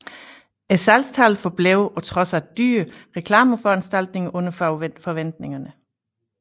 Salgstallene forblev på trods af dyre reklameforanstaltninger under forventningerne